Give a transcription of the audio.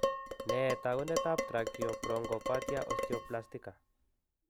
Nee taakuntaab tracheobronchopathia osteoplastica.